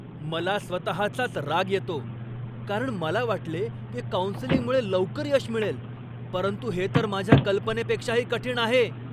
मला स्वतःचाच राग येतो, कारण मला वाटले की काउन्सेलिंगमुळे लवकर यश मिळेल, परंतु हे तर माझ्या कल्पनेपेक्षाही कठीण आहे.